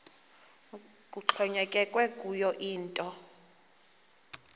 kuxhonyekekwe kuyo yinto